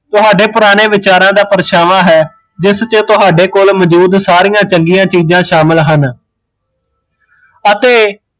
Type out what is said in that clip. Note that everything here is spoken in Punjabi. ਤੁਹਾਡੇ ਪੁਰਾਣੇ ਵਿਚਾਰਾ ਦਾ ਪਰਛਾਵਾਂ ਹੈ ਜਿਸ ਚ ਤੁਹਾਡੇ ਕੋਲ ਮੋਜੂਦ ਸਾਰੀਆ ਚੰਗੀਆ ਚੀਜ਼ਾਂ ਸ਼ਾਮਿਲ ਹਨ ਅਤੇ